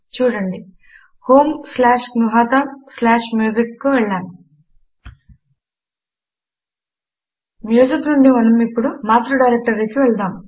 చూడండి homegnuhataMusic కు వెళ్ళాము మ్యూజిక్ నుండి మనము ఇప్పుడు మాతృ డైరెక్టరీకి వెళ్దాము